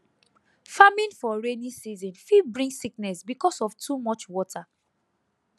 farming for rainy season fit bring sickness because of too much water